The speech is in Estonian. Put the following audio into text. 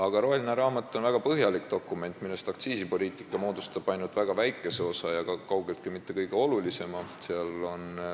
Aga roheline raamat on väga põhjalik dokument, millest aktsiisipoliitika moodustab ainult väga väikese ja kaugeltki mitte kõige olulisema osa.